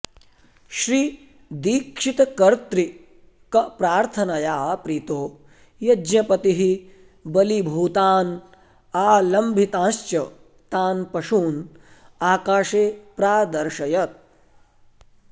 श्रीदीक्षितकर्त्तृकप्रार्थनया प्रीतो यज्ञपतिः बलीभूतान् आलम्भितांश्च तान् पशून् आकाशे प्रादर्शयत्